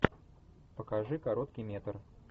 покажи короткий метр